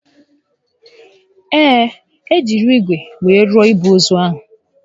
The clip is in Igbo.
Ee, e jiri ígwè were rụọ igbe ozu ahụ